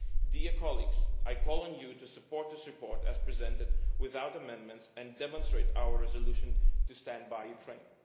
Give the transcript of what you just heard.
Dear colleagues, I call on you to support this report as presented without amendments, and to demonstrate our resolution to stand by Ukraine.